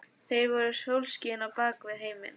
Þeir eru sólskinið á bak við heiminn.